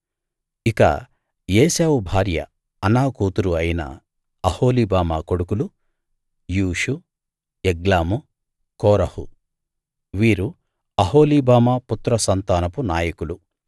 ఇక ఏశావు భార్య అనా కూతురు అయిన అహొలీబామా కొడుకులు యూషు యగ్లాము కోరహు వీరు అహొలీబామా పుత్రసంతానపు నాయకులు